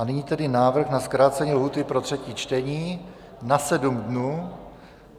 A nyní tedy návrh na zkrácení lhůty pro třetí čtení na sedm dnů.